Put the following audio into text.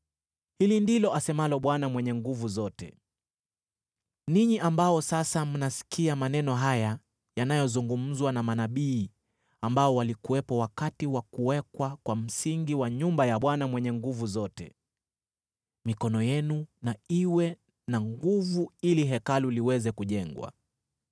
Hili ndilo asemalo Bwana Mwenye Nguvu Zote: “Ninyi ambao sasa mnasikia maneno haya yanayozungumzwa na manabii ambao walikuwepo wakati wa kuwekwa kwa msingi wa nyumba ya Bwana Mwenye Nguvu Zote, mikono yenu na iwe na nguvu ili Hekalu liweze kujengwa.